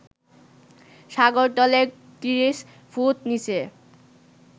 সাগরতলের ত্রিশ ফুট নিচে